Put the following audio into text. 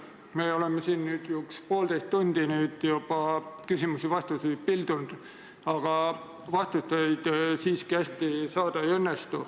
Me oleme siin üks poolteist tundi juba küsimusi pildunud, aga vastuseid siiski hästi saada ei õnnestu.